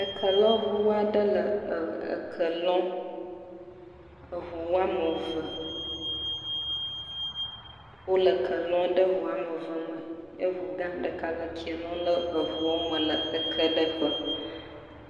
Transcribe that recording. Kelɔŋu aɖe le eke lɔm, eŋu woame eve wole ke lɔm ɖe eŋu woame eve me eŋu gã ɖeka le ke lɔm ɖe eŋu me le ekeɖeƒe.